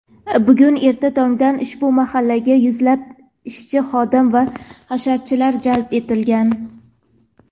bugun erta tongdan ushbu mahallaga yuzlab ishchi-xodim va hasharchilar jalb etilgan.